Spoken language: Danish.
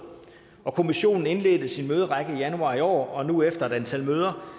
kommissionen indledte sin møderække i januar i år og nu efter et antal møder